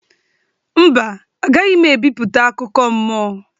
Mba, agaghị m ebipụta akụkọ mmụọ